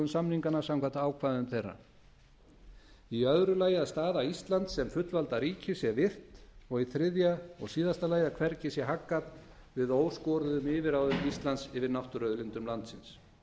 samninganna samkvæmt ákvæðum þeirra b að staða íslands sem fullvalda ríkis sé virt c að hvergi sé haggað við óskoruðum yfirráðum íslands yfir náttúruauðlindum landsins